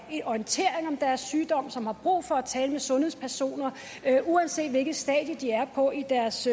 orientering om deres sygdom som har brug for at tale med sundhedspersoner uanset hvilket stadie de er på i deres